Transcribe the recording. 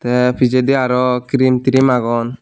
te pijedi araw crim trim agon.